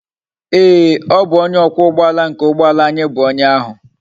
Ee o bu onye okwa ugboala nke ugboala anyi bu onye ahu